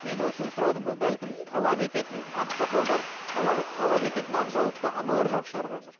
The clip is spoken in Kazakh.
мен осыны сұрадым ғой бәлкім талап ететін ақсақалдар талап ететін ақ жаулықты аналар жоқ шығар қазір